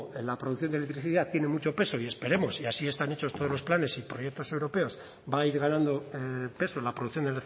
la producción de electricidad tiene mucho peso y esperemos y así están hechos todos los planes y proyectos europeos va a ir ganando peso en la producción